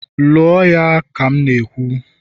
lụọ ya ka m na-ekwu!